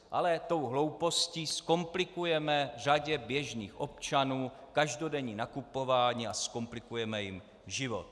Ale tou hloupostí zkomplikujeme řadě běžných občanů každodenní nakupování a zkomplikujeme jim život.